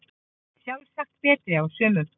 Sjálfsagt betri á sumum